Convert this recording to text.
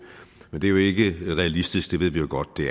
men det er jo ikke realistisk det ved vi jo godt at det